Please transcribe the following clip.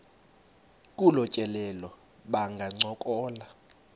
kolu tyelelo bangancokola